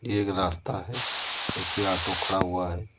ये एक रास्ता है जिसपे ऑटो खड़ा हुआ है।